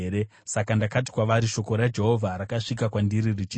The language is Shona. Saka ndakati kwavari, “Shoko raJehovha rakasvika kwandiri richiti,